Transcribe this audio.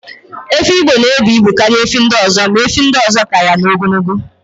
Efi Igbo na ebu ibu karịa efi ndị ọzọ, ma efi ndị ọzọ ka ya na n'ogologo